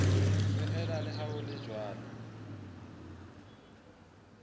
feela leha ho le jwalo